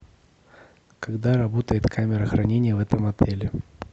когда работает камера хранения в этом отеле